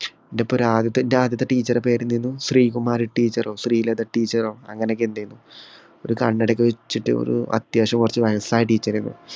ന്‍റെ ഇപ്പൊ ഒരു ആദ്യത്തെ ന്‍റെ ആദ്യത്തെ teacher പേര് എന്തായിനു ശ്രീകുമാരി teacher ഓ, ശ്രീലത teacher ഓ അങ്ങിനെയൊക്കെ എന്തോയിനു. ഒരു കണ്ണട ഒക്കെ വച്ചിട്ട് ഒരു അത്യാവശ്യം കുറച്ചു വയസ്സായ teacher ആയിനു.